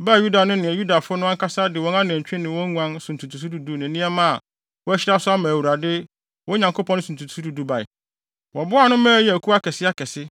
baa Yuda no ne Yudafo no ankasa de wɔn anantwi ne wɔn nguan so ntotoso du du ne nneɛma a wɔahyira so ama Awurade, wɔn Nyankopɔn no so ntotoso du du bae. Wɔboaa ano ma ɛyɛɛ akuw akɛseakɛse.